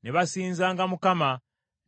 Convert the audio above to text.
Ne basinzanga Mukama ,